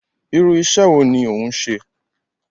Irú iṣẹ́ wo ni òún ṣe?